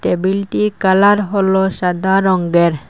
টেবিলটি কালার হল সাদা রঙ্গের।